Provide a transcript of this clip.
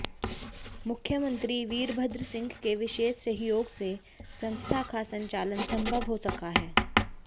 मुख्यमंत्री वीरभद्र सिंह के विशेष सहयोग से संस्था का संचालन संभव हो सका है